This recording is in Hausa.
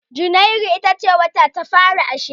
Janairu ita ce wata na fari a shekara